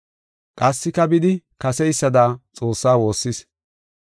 Qassika bidi kaseysada Xoossa woossis.